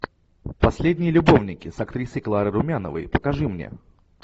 последний любовники с актрисой кларой румяновой покажи мне